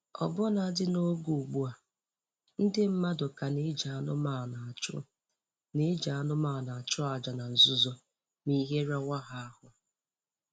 Ọbụnadị n'oge ugbu a, ndị mmadụ ka na-eji anụmanụ achụ na-eji anụmanụ achụ aja na nzuzo m'ihe rawa ha ahụ